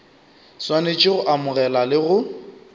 swanetše go amogela le go